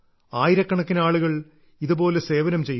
ആയിരക്കണക്കിന് ആളുകൾ ഇതുപോലെ സേവനം ചെയ്യുന്നു